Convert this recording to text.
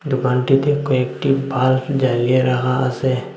দুকানটিতে কয়েকটি বাল্ব জ্বালিয়ে রাখা আসে।